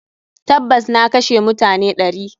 Tabas, na kashe mutane ɗari.